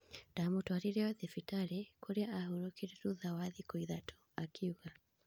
"Ndamũtwarire o thibitarĩ, kũrĩa ahurũkire thutha wa thikũ ithatũ,"akiuga.